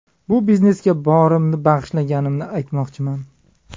Bu biznesga borimni bag‘ishlaganimni aytmoqchiman.